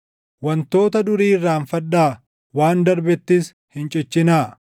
“Wantoota durii irraanfadhaa; waan darbettis hin cichinaa.